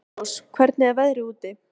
Elírós, hvernig er veðrið úti?